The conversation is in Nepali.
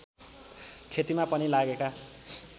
खेतीमा पनि लागेका